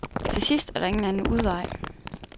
Til sidst er der ingen anden udvej.